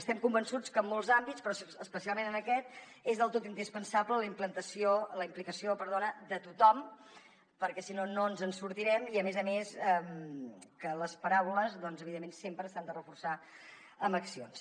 estem convençuts que en molts àmbits però especialment en aquest és del tot indispensable la implicació de tothom perquè si no no ens en sortirem i a més a més que les paraules doncs evidentment sempre s’han de reforçar amb accions